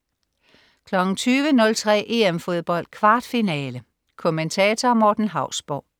20.03 EM Fodbold. Kvartfinale. Kommentator: Morten Hausborg